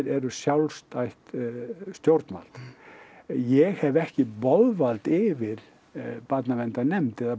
eru sjálfstætt stjórnvald ég hef ekki boðvald yfir barnaverndarnefnd eða